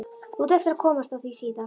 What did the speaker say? Þú átt eftir að komast að því síðar.